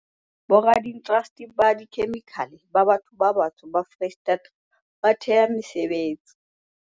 Boradiindasteri ba dikhemikhale ba batho ba batsho ba Freistata ba thea mesebetsi